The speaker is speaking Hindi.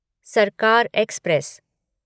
सरकार एक्सप्रेस